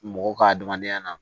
Mɔgɔ ka adamadenya na